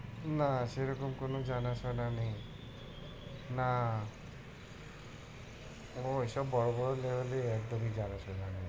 না সেরকম কোনো জানা শোনা নেই। না ও ওসব বড় বড় level একদমই জানা শোনা নেই।